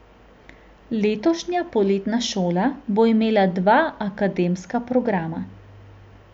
Letošnja poletna šola bo imela dva akademska programa.